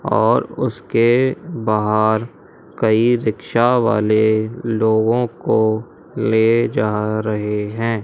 और उसके बाहर कई रिक्शा वाले लोगों को ले जा रहे हैं।